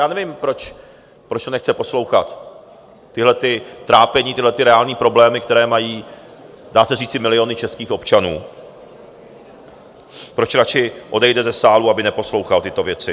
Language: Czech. Já nevím, proč to nechce poslouchat, tahleta trápení, tyhlety reálné problémy, které mají, dá se říci, miliony českých občanů, proč radši odejde ze sálu, aby neposlouchal tyto věci?